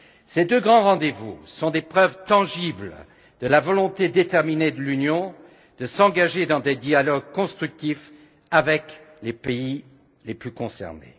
Ces deux grands rendez vous sont des preuves tangibles de la volonté déterminée de l'Union de s'engager dans des dialogues constructifs avec les pays les plus concernés.